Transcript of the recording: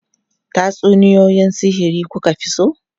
Tatsuniyoyi sihiri ku ka fi so?